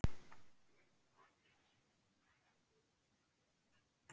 Þorbjörn Þórðarson: Ert þú búin að veiða mikið?